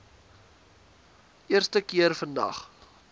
eerste keer vandag